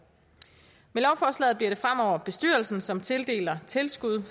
med lovforslaget bliver det fremover bestyrelsen som tildeler tilskud